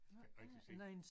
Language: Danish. Kan ikke rigtig se